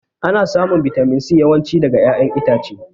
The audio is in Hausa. Ana samun bitamin C yawan ci daga ƴaƴan itace